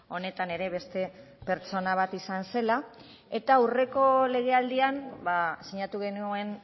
honetan ere beste pertsona bat izan zela eta aurreko legealdian sinatu genuen